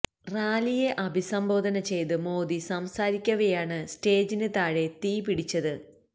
റാലിയെ അഭിസംബോദന ചെയ്ത് മോദി സംസാരിക്കവെയാണ് സ്റ്റേജിന് താഴെ തീ പിടിച്ചത്